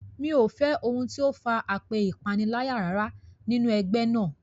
Mi ò fẹ́ ohun tí ó far apẹ́ ìpaniláyà rárá nínú ẹgbẹ́ náà.